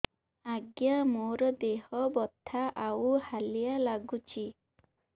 ଆଜ୍ଞା ମୋର ଦେହ ବଥା ଆଉ ହାଲିଆ ଲାଗୁଚି